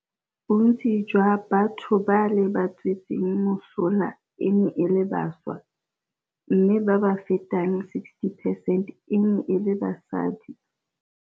Bontsi jwa batho ba le ba tswetseng mosola e ne e le bašwa, mme ba ba fetang 60 percent e ne e le basadi.